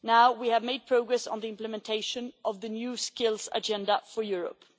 We have made progress on the implementation of the New Skills Agenda for Europe.